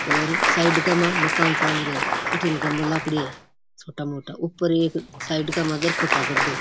और साइड का मा मकान चाल रिया है अठीने गमला पड़या है छोटा मोटा ऊपर एक साइड के मा दरकत है बढ़ो।